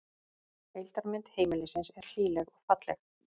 Heildarmynd heimilisins er hlýleg og falleg